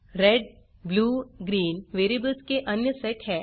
red blue green variables के अन्य set हैं